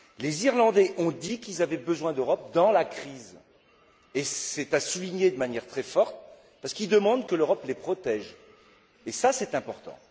Les Irlandais ont dit qu'ils avaient besoin de l'Europe dans la crise, et c'est à souligner de manière très forte, parce qu'ils demandent que l'Europe les protège, et ça c'est important.